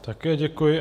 Také děkuji.